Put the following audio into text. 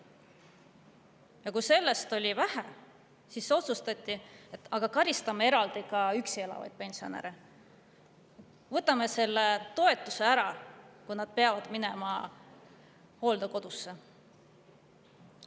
Ja kui sellest on veel vähe, siis otsustati, et karistame eraldi ka üksi elavaid pensionäre, võtame toetuse ära, kui nad peavad minema hooldekodusse.